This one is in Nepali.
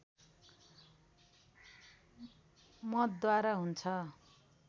मतद्वारा हुन्छ